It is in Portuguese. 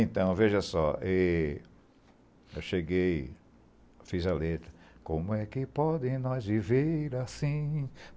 Então, veja só, eh, eu cheguei, fiz a letra... Como é que podem nós viver assim?